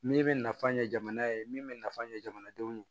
Min bɛ nafa ɲɛ jamana ye min bɛ nafa ɲɛ jamanadenw ye